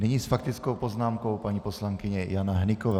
Nyní s faktickou poznámkou paní poslankyně Jana Hnyková.